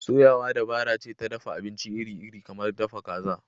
Soyawa dabara ce ta dafa abinci iri-iri kamar dafa kaza.